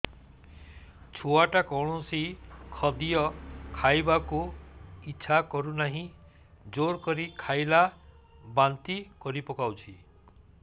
ଛୁଆ ଟା କୌଣସି ଖଦୀୟ ଖାଇବାକୁ ଈଛା କରୁନାହିଁ ଜୋର କରି ଖାଇଲା ବାନ୍ତି କରି ପକଉଛି